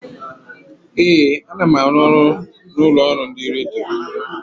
Ee, ana m arụ ọrụ n'ụlọ ọrụ ndị redio.